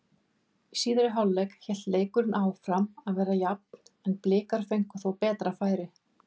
Í síðari hálfleik hélt leikurinn áfram að vera jafn en Blikar fengu þó betri færi.